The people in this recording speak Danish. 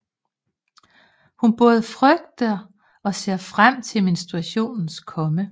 Hun både frygter og ser frem til menstruationens komme